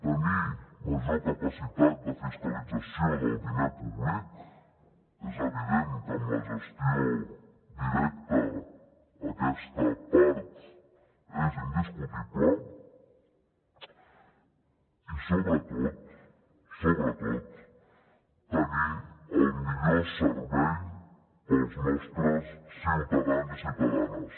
tenir major capacitat de fiscalització del diner públic és evident que amb la gestió directa d’aquesta part és indiscutible i sobretot sobretot tenir el millor servei per als nostres ciutadans i ciutadanes